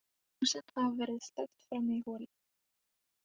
Ljósin hafa verið slökkt frammi í holi.